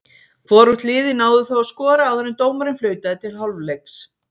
Hvorugt liðið náði þó að skora áður en dómarinn flautaði til hálfleiks.